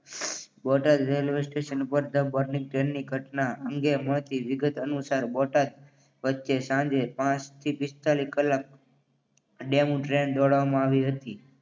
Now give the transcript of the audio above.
Botad railway station ઉપર the burning ટ્રેનની ઘટના અંગે મળતી વિગતો અનુસાર બોટાદ વચ્ચે સાંજે પાંચથી પિસ્તાલીસ કલાક ડેમુ ટ્રેન દોડાવવામાં આવી હતી.